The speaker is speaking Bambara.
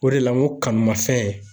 O de la n ko kanu ma fɛn